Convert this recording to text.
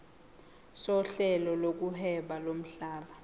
sohlelo lokuhweba lomhlaba